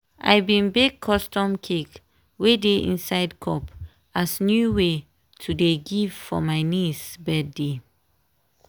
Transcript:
i bin bake custom cake wey dey inside cup as new way to dey give for my niece birthday.